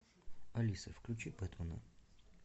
алиса включи бэтмена